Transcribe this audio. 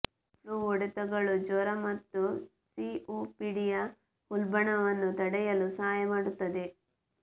flu ಹೊಡೆತಗಳು ಜ್ವರ ಮತ್ತು ಸಿಒಪಿಡಿಯ ಉಲ್ಬಣವನ್ನು ತಡೆಯಲು ಸಹಾಯ ಮಾಡುತ್ತದೆ